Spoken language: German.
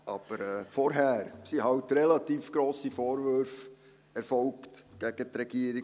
Aber zuvor erfolgten halt relativ grosse Vorwürfe gegen die Regierung.